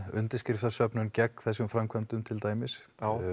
undirskriftarsöfnun gegn þessum framkvæmdum til dæmis